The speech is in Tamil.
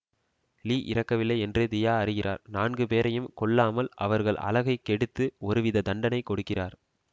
லீ இறக்கவில்லை என்று தியா அறிகிறார் நான்கு பேரையும் கொல்லாமல் அவர்கள் அழகைக் கெடுத்து ஒரு வித தண்டனை கொடுக்கிறார்